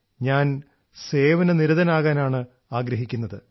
ഞാൻ സേവനനിരതനാകാനാണ് ആഗ്രഹിക്കുന്നത്